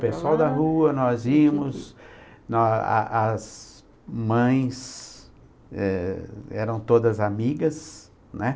O pessoal da rua, nós íamos, nó a as mães eh eram todas amigas, né?